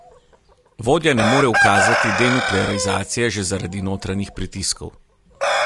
Vodja ne more ukazati denuklearizacije že zaradi notranjih pritiskov.